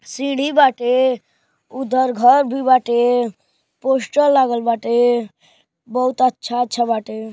सीढ़ी बाटे। उधर घर भी बाटे। पोस्टर लागल बाटे। बहुत अच्छा अच्छा बाटे।